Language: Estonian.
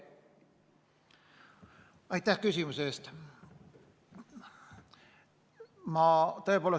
Aitäh küsimuse eest!